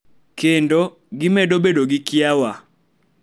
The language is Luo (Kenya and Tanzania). Kendo, gimedo bedo gi kiawa